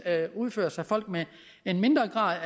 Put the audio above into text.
udføres af folk med en mindre grad